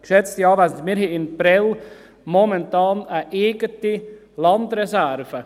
Geschätzte Anwesende, wir haben in Prêles momentan eine eigene Landreserve.